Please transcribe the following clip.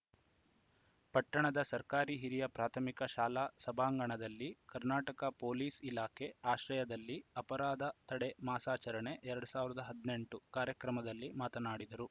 ಪಟ್ಟಣದ ಸರ್ಕಾರಿ ಹಿರಿಯ ಪ್ರಾಥಮಿಕ ಶಾಲಾ ಸಭಾಂಗಣದಲ್ಲಿ ಕರ್ನಾಟಕ ಪೊಲೀಸ್‌ ಇಲಾಖೆ ಆಶ್ರಯದಲ್ಲಿ ಅಪರಾಧ ತಡೆ ಮಾಸಾಚಾರಣೆ ಎರಡ್ ಸಾವಿರದ ಹದಿನೆಂಟು ಕಾರ್ಯಕ್ರಮದಲ್ಲಿ ಮಾತನಾಡಿದರು